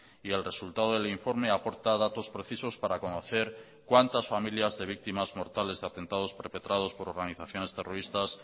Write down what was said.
y el resultado del informe aporta datos precisos para conocer cuántas familias de víctimas mortales de atentados perpetrados por organizaciones terroristas